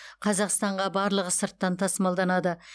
қазақстанға барлығы сырттан тасымалданады